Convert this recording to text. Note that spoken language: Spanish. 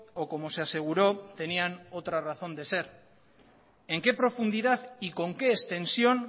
o como se aseguró tenían otra razón de ser en qué profundidad y con qué extensión